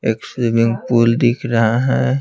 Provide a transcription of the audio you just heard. एक swimming pool दिख रहा है।